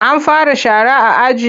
An fara shara a aji?